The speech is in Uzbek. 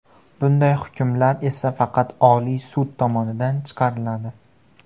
Bunday hukmlar esa faqat Oliy sud tomonidan chiqariladi.